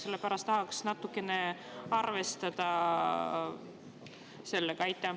Sellepärast, et tahaks natukene arvestada sellega.